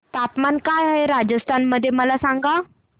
तापमान काय आहे राजस्थान मध्ये मला सांगा